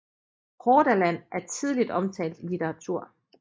Hordaland er tidligt omtalt i litteratur